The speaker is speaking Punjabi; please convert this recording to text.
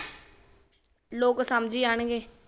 ਲੋਕ ਸਮਝੀ ਜਾਣਗੇ